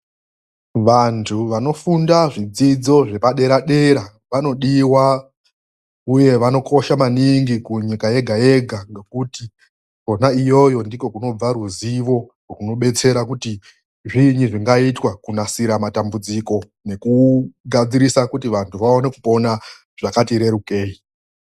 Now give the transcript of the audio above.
Vanhu vanofunda zvidzidzo zvepadera dera vanodiwa uye vanokosha maningi kunyika yega yega ngokuti kwona iyoyo ndiko kunobva ruzivo rwunobetsera kuti zviinyi zvingaitwa kunasira matambudziko nekugadzirisa kuti vanhu vaone kupona zvakati rerukei.